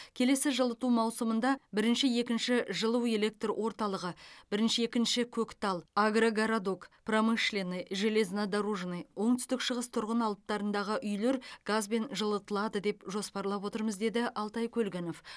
келесі жылыту маусымында бірінші екінші жылуэлектр орталығы бірінші екінші көктал агргородок промышленный железнодорожный оңтүстік шығыс тұрғын алаптарындағы үйлер газбен жылытылады деп жоспарлап отырмыз деді алтай көлгінов